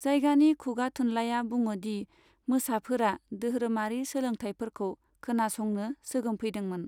जायगानि खुगाथुनलाया बुङोदि मोसाफोरा दोहोरोमारि सोलोंथायफोरखौ खोनासंनो सोगोमफैदोंमोन।